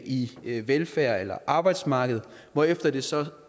i velfærd eller arbejdsmarked hvorefter det så